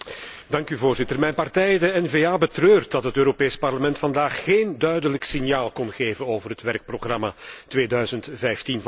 Mijn partij, de NVA, betreurt dat het Parlement vandaag geen duidelijk signaal kon geven over het werkprogramma 2015 van de Commissie.